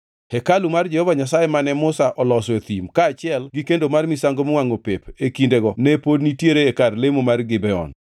Hekalu mar Jehova Nyasaye mane Musa oloso e thim, kaachiel gi kendo mar misango miwangʼo pep e kindego ne pod nitiere e kar lemo man Gibeon.